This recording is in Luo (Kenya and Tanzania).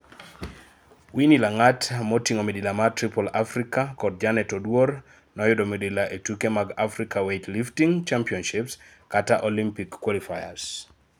Winny Langat motingo midila mar Triple Africa kod Janet Oduor noyudo midila ee tuke mag Africa Weightlifting Championships kata Olympic qualifiers